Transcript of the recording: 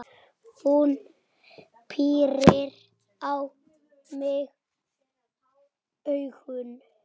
Hún pírir á mig augun.